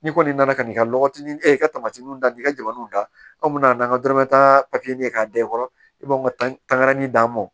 N'i kɔni nana ka n'i ka lɔgɔtinin e ka tamatiw da i ka jamaw da n'an ka dɔrɔmɛ tan papiye ye k'a da i kɔrɔ i b'aw ka tangani d'an ma